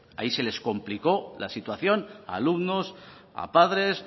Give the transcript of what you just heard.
ahí se les complicó la situación a alumnos a padres